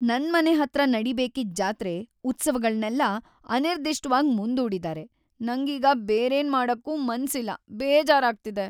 ನನ್ಮನೆ ಹತ್ರ ನಡೀಬೇಕಿದ್ ಜಾತ್ರೆ, ಉತ್ಸವಗಳ್ನೆಲ್ಲ ಅನಿರ್ದಿಷ್ಟ್‌ವಾಗಿ ಮುಂದೂಡಿದಾರೆ, ನಂಗೀಗ ಬೇರೇನ್‌ ಮಾಡಕ್ಕೂ ಮನ್ಸಿಲ್ಲ.. ಬೇಜಾರಾಗ್ತಿದೆ.